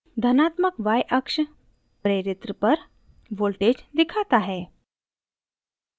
धनात्मक yअक्ष प्रेरित्र inductor पर voltage दिखाता है